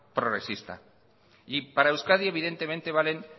progresista y para euskadi evidentemente valen